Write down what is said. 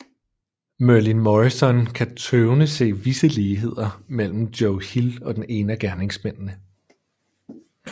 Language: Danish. Merlin Morrison kan tøvende se visse ligheder mellem Joe Hill og den ene af gerningsmændene